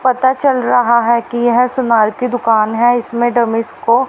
पता चल रहा है की यह सुनार की दुकान है इसमें डमी स्को